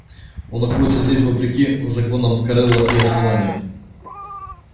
он находится здесь вопреки законам корела и основания